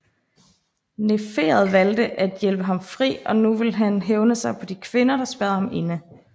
Neferet valgte at hjælpe ham fri og nu vil han hævne sig på de kvinder der spærrede ham inde